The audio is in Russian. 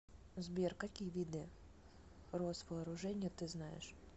сбер какие виды росвооружение ты знаешь